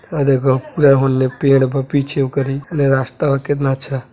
ओ देखो होले पेड़ बा पीछे ओकरी ले रास्ता ह केतना अच्छा।